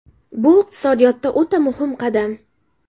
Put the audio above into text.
Bu iqtisodiyotda o‘ta muhim qadam.